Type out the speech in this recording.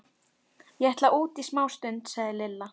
Ég ætla út í smástund, sagði Lilla.